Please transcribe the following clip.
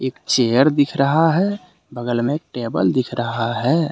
Chair दिख रहा है। बगल मे टेबल दिख रहा है।